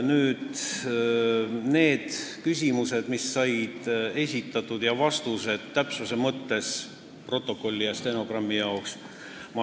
Ma loen teile ette need küsimused ja vastused – täpsuse mõttes, protokolli ja stenogrammi jaoks.